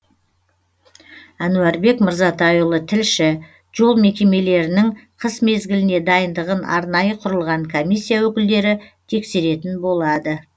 әнуарбек мырзатайұлы тілші жол мекемемелірінің қыс мезгіліне дайындығын арнайы құрылған комиссия өкілдері тексеретін болады